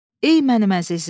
Ey mənim əzizim.